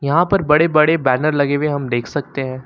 यहां पर बड़े बड़े बैनर लगे हुए हम देख सकते हैं।